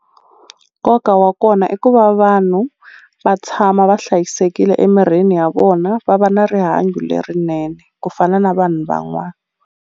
Nkoka wa kona i ku va vanhu va tshama va hlayisekile emirini ya vona va va na rihanyo lerinene ku fana na vanhu van'wana.